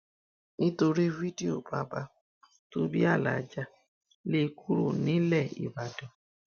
nítorí fídíò baba tó bí aláàjà lé e kúrò nílẹ nìbàdàn